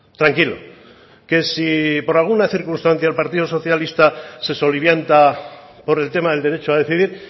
tranquilo que si por alguna circunstancia el partido socialista se solivianta por el tema del derecho a decidir